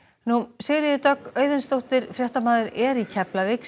Sigríður Dögg Auðunsdóttir er í Keflavík